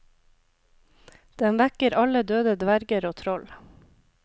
Den vekker alle døde dverger og troll.